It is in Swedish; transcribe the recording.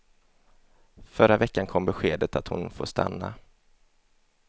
Förra veckan kom beskedet att hon får stanna.